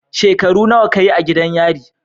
Shekaru nawa ka yi a gidan yari?